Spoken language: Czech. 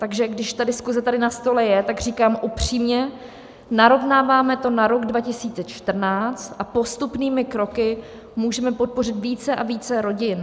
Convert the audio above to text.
Takže když ta diskuze tady na stole je, tak říkám upřímně: Narovnáváme to na rok 2014 a postupnými kroky můžeme podpořit více a více rodin.